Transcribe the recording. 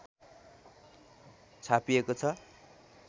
छापिएको छ